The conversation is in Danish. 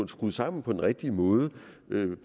skruet sammen på den rigtige måde